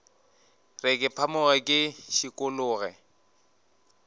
re ke phamoge ke šikologe